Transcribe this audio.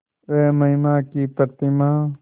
वह महिमा की प्रतिमा